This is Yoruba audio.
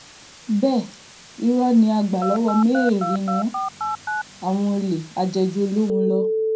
bẹ́ẹ̀ irọ́ ní àgbà-lọ́wọ́-mẹ́rìí ni wọ́n àwọn olè ajéjú-olóhùn-lọ